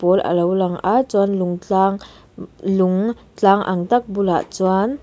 pawl a lo lang a chuan lung tlang lung tlang ang tak bulah chuan --